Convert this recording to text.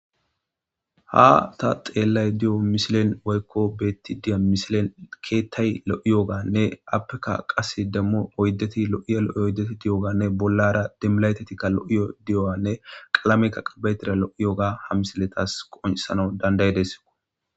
ha ta xeellayda diyo misilen woykko beetti diya mishilen keettay lo'iyooganne appekka qase demmu oyddeti lo'iya lo'oy oyddeti diyoganne bollara demiilaytetikka lo'iyo diyo'anne qalamekka qabaytira lo'i yogga ha misiletas qoncissnaw danda'idees